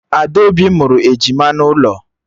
Adaobi mụrụ ejima n'ụlọ